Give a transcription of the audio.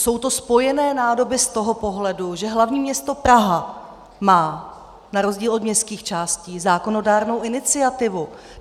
jsou to spojené nádoby z toho pohledu, že hlavní město Praha má na rozdíl od městských částí zákonodárnou iniciativu.